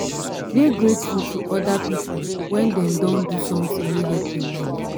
dey grateful to oda pipo when dem don do something wey help your life